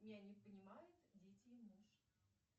меня не понимают дети и муж